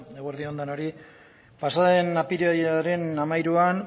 eguerdi on denoi pasa den apirilaren hamairuan